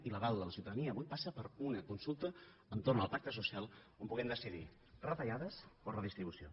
i l’aval de la ciutadania avui passa per una consulta entorn al pacte social on puguem decidir retallades o redistribució